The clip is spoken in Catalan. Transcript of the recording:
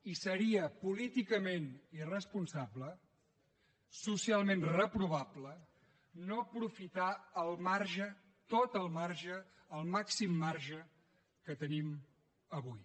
i seria políticament irresponsable socialment reprovable no aprofitar el marge tot el marge el màxim marge que tenim avui